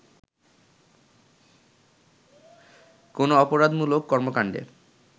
কোন অপরাধমূলক কর্মকাণ্ডে